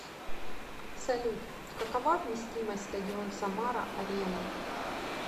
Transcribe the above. салют какова вместимость стадион самара арена